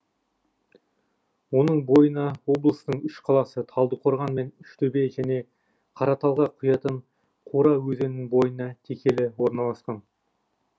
оның бойына облыстың үш қаласы талдықорған мен үштөбе және қараталға құятын қора өзенінің бойына текелі орналасқан